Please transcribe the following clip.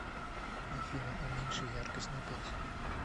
афина уменьши яркость на пять